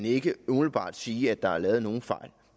ikke umiddelbart kan sige at der er lavet nogen fejl